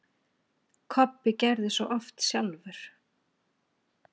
Kobbi gerði svo oft sjálfur.